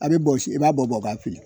A be bɔsi i b'a bɔ bɔ k'a fili